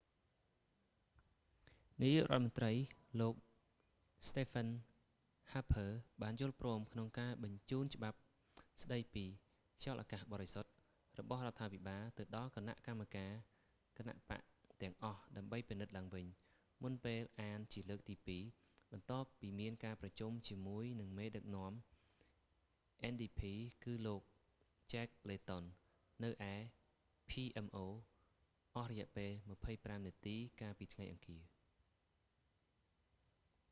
នាយករដ្ឋមន្រ្តី លោក stephen harper ស្តេហ្វឹន ហាភើ បានយល់ព្រមក្នុងការបញ្ជូនច្បាប់ស្តី​ពី 'clean air act ខ្យល់​អាកាស​បរិសុទ្ធ' របស់​រដ្ឋាភិបាល ទៅដល់​គណៈកម្មាធិការ​គណបក្ស​ទាំងអស់ ដើម្បី​ពិនិត្យឡើងវិញ មុនពេលអានជាលើកទីពីរ បន្ទាប់ពីមានការប្រជុំជាមួយនឹងមេដឹកនាំ ndp គឺលោក jack layton ជែក ឡេតុន នៅឯ pmo អស់រយៈពេល 25 នាទីកាលពី​ថ្ងៃ​អង្គារ។